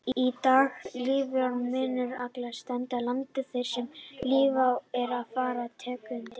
Í dag lifir minkur alls staðar á landinu þar sem lífvænlegt er fyrir tegundina.